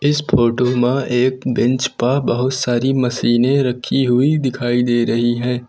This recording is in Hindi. इस फोटो मा एक बेंच पा बहुत सारी मशीनें रखी हुई दिखाई दे रही है।